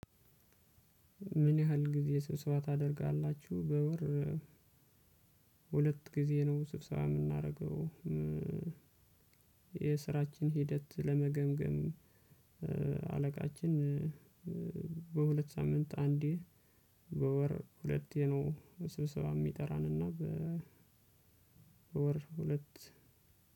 ምን ያህል ጊዜ ስብሰባ ታደርጋላችሁ በወር? ሁለት ጊዜ ነው ስብሰባ የምናደርገው። የስራችን ሂደት ለመገምገም አለቃችን በሁለት ሳምንት አንዴ በወር ሁለት ነው። ስብሰባ የሚጠራንና በወር ሁለት።